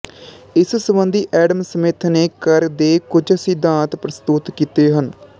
ਇਸ ਸੰਬੰਧੀ Adam Smith ਨੇ ਕਰ ਦੇ ਕੁਝ ਸਿਧਾਂਤ ਪ੍ਰਸਤੁਤ ਕੀਤੇ ਹਨ